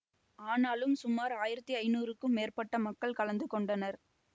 ஆனாலும் சுமார் ஆயிரத்தி ஐநூறுக்கும் மேற்பட்ட மக்கள் கலந்து கொண்டனர்